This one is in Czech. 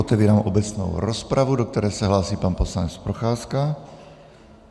Otevírám obecnou rozpravu, do které se hlásí pan poslanec Procházka.